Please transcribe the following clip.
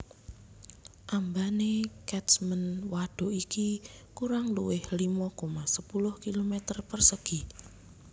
Ambane Catchment wadhuk iki kurang luwih limo koma sepuluh kilometer persegi